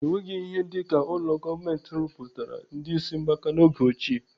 Enweghị ihe dịka ụlọ gọọmenti rụpụtara ndị ịsị mgbaka n'oge ochie.